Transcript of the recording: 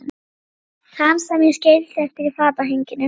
Þann sem ég skildi eftir í fatahenginu.